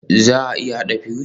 Za a iya haɗa fuse?